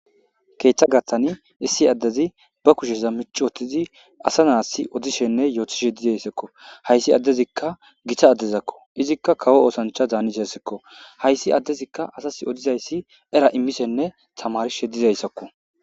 keeththa gattani issi addezi ba kusheza micwotizi asa naassi odishenne yootishe dizayssakko hayssi addezikka gita addezakko izikka kawo oosancha daanishessekko hayssi addezikka asas odizayssi era immishenne tamarishe dizayssakko